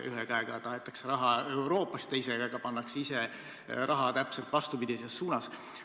Ühe käega tahetakse raha Euroopast ja teise käega pannakse ise raha täpselt vastupidises suunas.